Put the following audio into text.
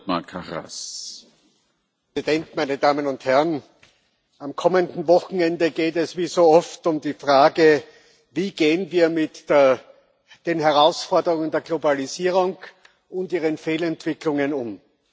Herr Präsident, meine Damen und Herren! Am kommenden Wochenende geht es wie so oft um die Frage Wie gehen wir mit den Herausforderungen der Globalisierung und ihren Fehlentwicklungen um?